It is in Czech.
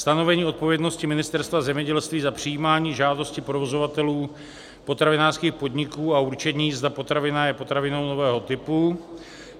stanovení odpovědnosti Ministerstva zemědělství za přijímání žádosti provozovatelů potravinářských podniků a určení, zda potravina je potravinou nového typu;